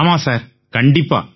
ஆமாம் சார் கண்டிப்பா